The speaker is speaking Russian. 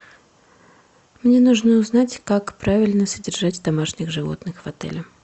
мне нужно узнать как правильно содержать домашних животных в отеле